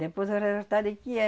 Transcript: Depois eu rever parei o que é,